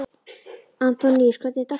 Antoníus, hvernig er dagskráin í dag?